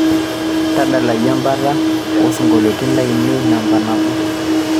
tadalayu embata o sinkoliotin lainei namba nabo